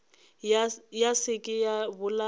ya se ke ya bolaya